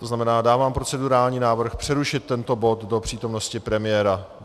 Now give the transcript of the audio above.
To znamená, dávám procedurální návrh přerušit tento bod do přítomnosti premiéra.